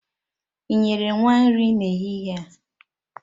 Ị nyere nwa nri n'ehihie a.?